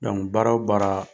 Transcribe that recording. baara o baara